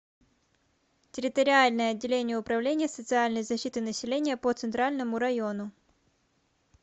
территориальное отделение управления социальной защиты населения по центральному району